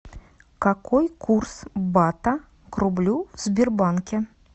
какой курс бата к рублю в сбербанке